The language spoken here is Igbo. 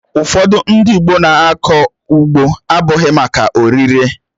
Ụfọdụ ndị Igbo na-akọ ugbo abụghị maka oririe